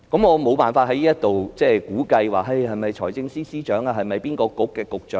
我無法在此估計，是否財政司司長或哪位局長。